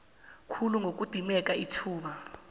khulu ngokudimeka ithuba